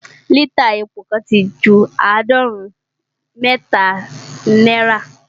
lítà epo kan ti ju àádọ́rùn-ún mẹ́ta naira